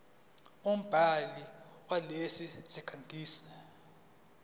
umbhali walesi sikhangisi